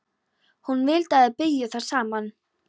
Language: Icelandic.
Hún vildi að þær byggju þar saman.